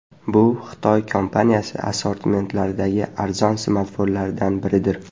Bu Xitoy kompaniyasi assortimentidagi arzon smartfonlardan biridir.